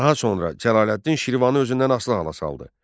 Daha sonra Cəlaləddin Şirvanı özündən asılı hala saldı.